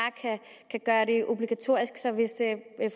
kan gøre det obligatorisk så vil